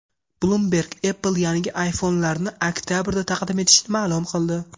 Bloomberg Apple yangi iPhone’larini oktabrda taqdim etishini ma’lum qildi.